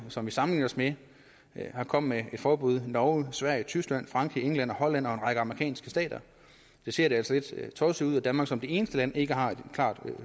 som vi sammenligner os med komme med forbud norge sverige tyskland frankrig england holland og en række amerikanske stater så ser det altså lidt tosset ud at danmark som det eneste land ikke har et klart